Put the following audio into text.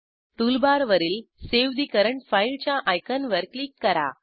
टूलबारवरील save the current file च्या आयकॉनवर क्लिक करा